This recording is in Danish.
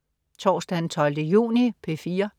Torsdag den 12. juni - P4: